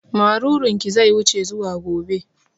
Marurun ki zai wuce zuwa gobe